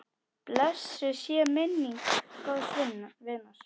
Blessuð sé minning góðs vinar.